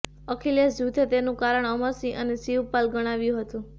અખિલેશ જૂથે તેનું કારણ અમર સિંહ અને શિવપાલ ગણાવ્યું હતું